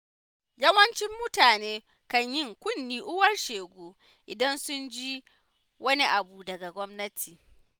Yawancin mutane kan yi kunnen uwar shegu, idan sun ji wani abu daga gwamnati.